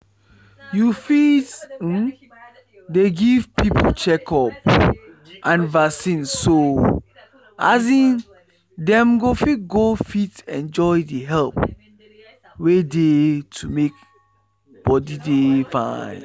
you fit um dey give people checkup and vaccine so um dem go fit go fit enjoy the help wey dey to make body dey fine.